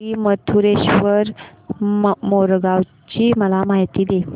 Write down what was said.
श्री मयूरेश्वर मोरगाव ची मला माहिती दे